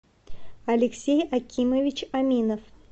алексей акимович аминов